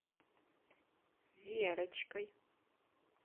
верочкой